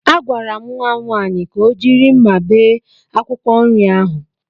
Agwara m nwa nwaanyị ka o jiri mma bee akwụkwọ nri ahụ.